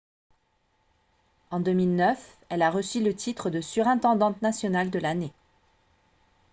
en 2009 elle a reçu le titre de surintendante nationale de l'année